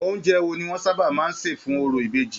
Oúnjẹ wo ni wọn sábà máa n ṣe fún òrò ìbejì?